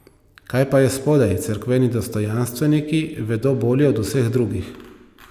Kaj pa je spodaj, cerkveni dostojanstveniki vedo bolje od vseh drugih.